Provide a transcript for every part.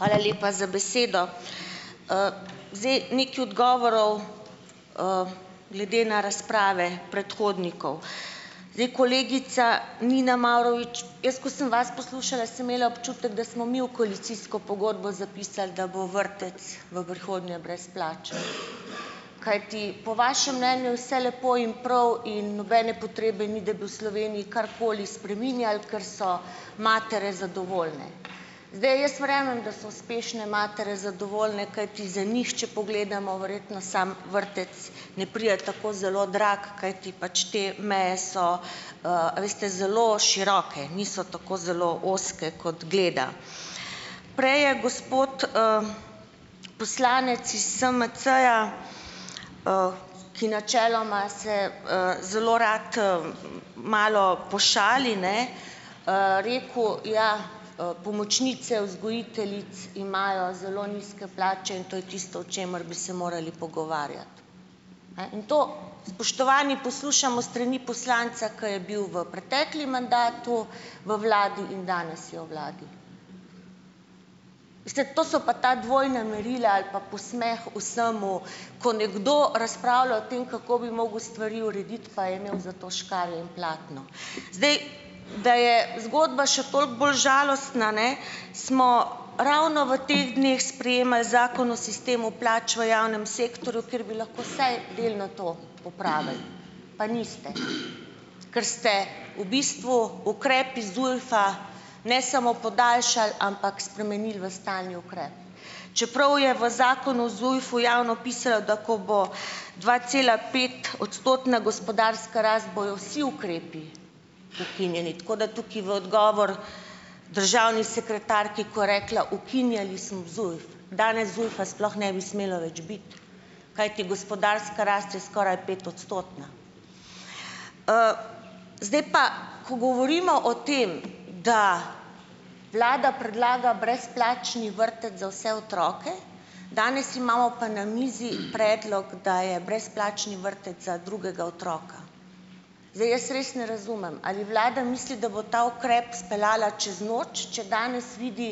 Hvala lepa za besedo. Zdaj, nekaj odgovorov, glede na razprave predhodnikov. Zdaj kolegica Nina Mavrovič, jaz ko sem vas poslušala, sem imela občutek, da smo mi v koalicijsko pogodbo zapisali, da bo vrtec v prihodnje brezplačen, kajti po vašem mnenju vse lepo in prav, in nobene potrebe ni, da bi v Sloveniji karkoli spreminjali, ker so matere zadovoljne. Zdaj, jaz verjamem da so uspešne matere zadovoljne, kajti za njih, če pogledamo, verjetno samo vrtec ne pride tako zelo drag, kajti pač te meje so, a veste, zelo široke, niso tako zelo ozke, kot gleda. Prej je gospod, poslanec iz SMC-ja, ki načeloma se, zelo rad, malo pošali, ne, rekel: "Ja, pomočnice vzgojiteljic imajo zelo nizke plače in to je tisto, o čemer bi se morali pogovarjat." Ne, in to, spoštovani, poslušamo s strani poslanca, ko je bil v preteklem mandatu, v vladi in danes je v vladi. Veste, to so pa ta dvojna merila ali pa posmeh vsemu, ko nekdo razpravlja o tem, kako bi mogel stvari urediti, pa je imel za to škarje in platno. Zdaj, da je zgodba še toliko bolj žalostna, ne, smo ravno v teh dneh sprejemali Zakon o sistemu plač v javnem sektorju, ker bi lahko vsaj delno to popravili, pa niste, ker ste v bistvu ukrep iz ZUJF-a ne samo podaljšali, ampak spremenili v stalni ukrep. Čeprav je v Zakonu o ZUJF-u javno pisalo, da ko bo dvacelapet- odstotna gospodarska rast, bojo vsi ukrepi ukinjeni, tako da tukaj v odgovor državni sekretarki, ko je rekla: "Ukinjali smo ZUJF." Danes ZUJF-a sploh ne bi smelo več biti, kajti gospodarska rast je skoraj petodstotna. Zdaj pa, ko govorimo o tem, da vlada predlaga brezplačni vrtec za vse otroke, danes imamo pa na mizi predlog, da je brezplačni vrtec za drugega otroka. Zdaj jaz res ne razumem, ali vlada misli, da bo ta ukrep speljala čez noč, če danes vidi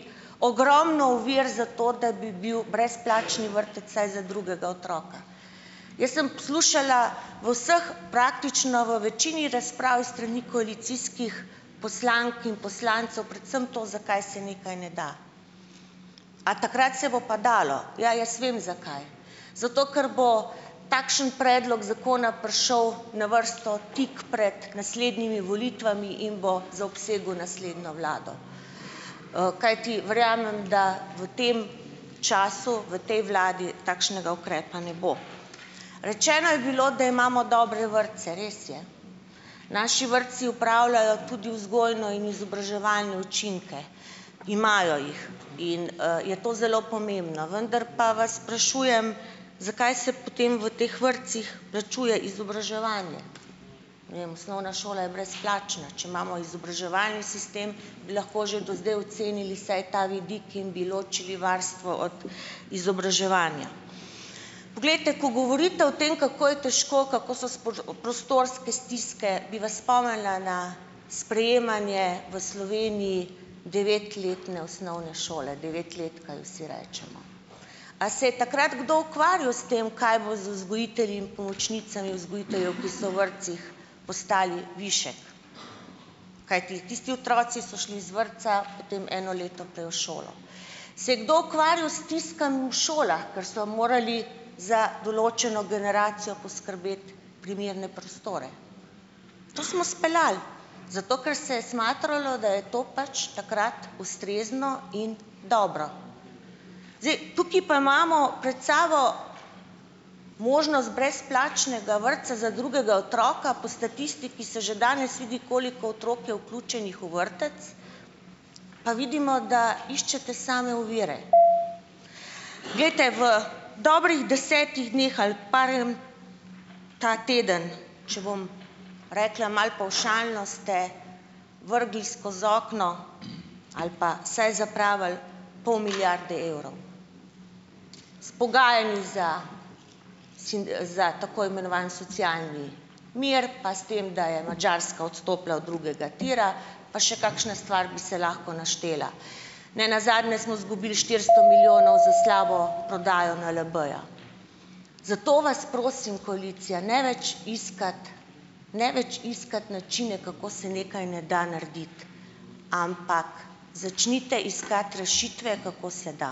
ogromno ovir za to, da bi bil brezplačni vrtec vsaj za drugega otroka. Jaz sem poslušala v vseh, praktično v večini razprav s strani koalicijskih poslank in poslancev, predvsem to, zakaj se nekaj ne da. A takrat se bo pa dalo? Ja, jaz vem zakaj. Zato, ker bo takšen predlog zakona prišel na vrsto tik pred naslednjimi volitvami in bo zaobsegel naslednjo vlado. kajti verjamem, da v tem času, v tej vladi takšnega ukrepa ne bo. Rečeno je bilo, da imamo dobre vrtce. Res je, naši vrtci opravljajo tudi vzgojne in izobraževalne učinke. Imajo jih in, je to zelo pomembno, vendar pa vas sprašujem, zakaj se potem v teh vrtcih plačuje izobraževanje? Ne vem, osnovna šola je brezplačna, če imamo izobraževalni sistem, bi lahko že do zdaj ocenili vsaj ta vidik in bi ločili varstvo od izobraževanja. Poglejte, ko govorite o tem, kako je težko, kako so prostorske stiske, bi vas spomnila na sprejemanje v Sloveniji devetletne osnovne šole, devetletka ji vsi rečemo. A se je takrat kadar ukvarjal s tem, kaj bo z vzgojitelji in pomočnicami vzgojiteljev, ki so v vrtcih postali višek? Kajti tisti otroci so šli z vrtca potem eno leto prej v šolo. Se je kdo ukvarjal s stiskami v šolah, ker so morali za določeno generacijo poskrbeti primerne prostore? To smo speljali, zato ker se je smatralo, da je to pač takrat ustrezno in dobro. Zdaj tukaj pa imamo pred sabo možnost brezplačnega vrtca za drugega otroka. Po statistiki se že danes vidi, koliko otrok je vključenih v vrtec, pa vidimo, da iščete same ovire. Glejte, v dobrih desetih dneh ali ta teden, če bom rekla malo pavšalno, ste vrgli skoz okno ali pa vsaj zapravili pol milijarde evrov. S pogajanji za za tako imenovani socialni mir, pa s tem, da je Madžarska odstopila od drugega tira, pa še kakšna stvar bi se lahko naštela. Ne nazadnje smo izgubili štiristo milijonov za slabo prodajo NLB-ja. Zato vas prosim koalicija, ne več iskati, ne več iskati načine, kako se nekaj ne da narediti, ampak začnite iskati rešitve, kako se da.